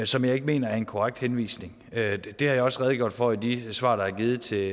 som jeg ikke mener er en korrekt henvisning det har jeg også redegjorde for i de svar der er givet til